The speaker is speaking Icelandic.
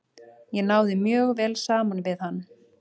Ég náði mjög vel saman við hann.